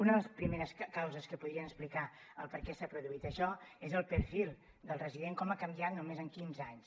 una de les primeres causes que podrien explicar el perquè s’ha produït això és el perfil del resident com ha canviat només en quinze anys